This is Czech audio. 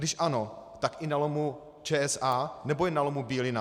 Když ano, tak i na lomu ČSA, nebo jen na lomu Bílina?